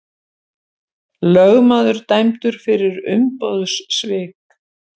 Lögmaður dæmdur fyrir umboðssvik